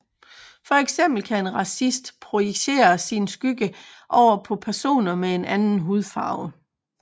For eksempel kan en racist projicere sin skygge over på personer med en anden hudfarve